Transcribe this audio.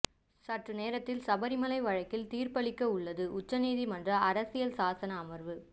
சற்று நேரத்தில் சபரிமலை வழக்கில் தீர்ப்பளிக்க உள்ளது உச்ச நீதிமன்ற அரசியல் சாசன அமர்வு